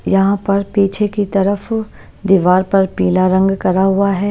यहां पर पीछे की तरफ दीवार पर पीला रंग करा हुआ है।